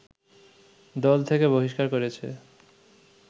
দল থেকে বহিষ্কার করেছে